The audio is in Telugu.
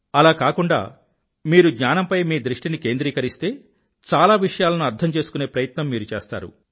అలా కాకుండా మీరు జ్ఞానంపై మీ దృష్టిని కేంద్రీకరిస్తే చాలా విషయాలను అర్థం చేసుకునే ప్రయత్నం మీరు చేస్తారు